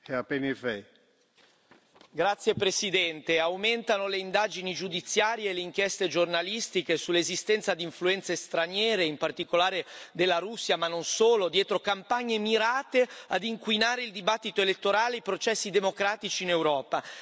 Signor Presidente, onorevoli colleghi, aumentano le indagini giudiziarie e le inchieste giornalistiche sull'esistenza di influenze straniere, in particolare della Russia, ma non solo, dietro campagne mirate a inquinare il dibattito elettorale e i processi democratici in Europa.